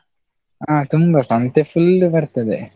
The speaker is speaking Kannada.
ಆ ತುಂಬಾ ಸಂತೆ full ಬರ್ತದೆ.